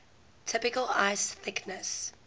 typical ice thickness